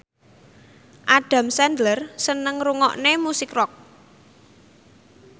Adam Sandler seneng ngrungokne musik rock